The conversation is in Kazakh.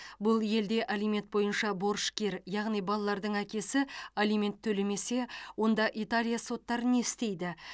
бұл елде алимент бойынша борышкер яғни балалардың әкесі алимент төлемесе онда италия соттары не істейді